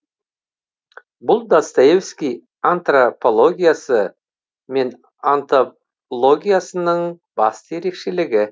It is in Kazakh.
бұл достоевский антропологиясы мен онтологиясының басты ерекшелігі